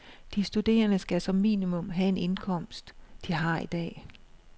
De studerende skal som minimum have den indkomst, de har i dag.